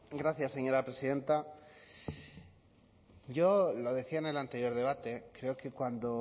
gracias señora presidenta yo lo decía en el anterior debate creo que cuando